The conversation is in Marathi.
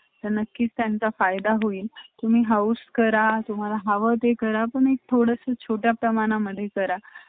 आयुष्यभराचा खूप loss होतो आयुष्यभर